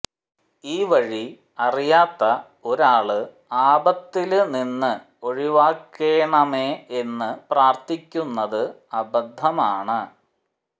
ഈ വഴി അറിയാത്ത ഒരാള് ആപത്തില് നിന്ന് ഒഴിവാക്കേണമേ എന്നു പ്രാര്ത്ഥിക്കുന്നത് അബദ്ധമാണ്